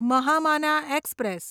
Mahamana express